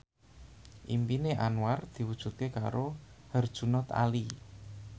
impine Anwar diwujudke karo Herjunot Ali